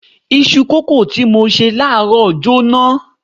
Isu kòókòó tí mo ṣe láàárọ̀ jóná.